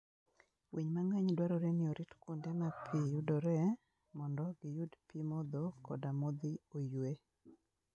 Winy mang'eny dwarore ni orit kuonde ma pi yudoree mondo giyud pi modho koda modhi oyue.